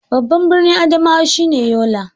Babban birnin Adamawa shi ne Yola.